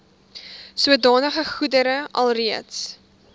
sodanige goedere alreeds